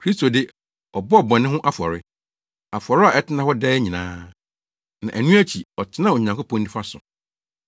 Kristo de, ɔbɔɔ bɔne ho afɔre. Afɔre a ɛtena hɔ daa nyinaa. Na ɛno akyi, ɔtenaa Onyankopɔn nifa so.